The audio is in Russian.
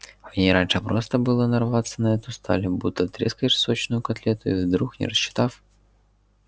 в ней раньше просто было нарваться на эту сталь будто трескаешь сочную котлету и вдруг не рассчитав